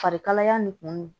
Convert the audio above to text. Farikalaya nin kun